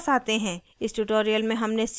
इस tutorial में हमने सीखा